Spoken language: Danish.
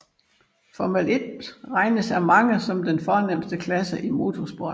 Formel 1 regnes af mange som den fornemste klasse i motorsport